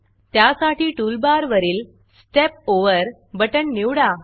त्यासाठी टूलबारवरील Step Overस्टेप ओवर बटण निवडा